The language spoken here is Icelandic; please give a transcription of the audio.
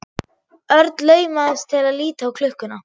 Örn laumaðist til að líta á klukkuna.